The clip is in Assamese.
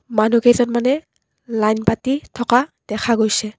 মানুহ কেইজনমানে লাইন পাতি থকা দেখা গৈছে।